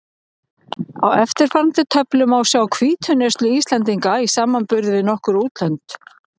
Á eftirfarandi töflu má sjá hvítuneyslu Íslendinga í samanburði við nokkur útlönd.